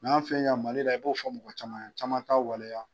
Mali la i b'o fɔ mɔgɔ caman ye caman t'a waleya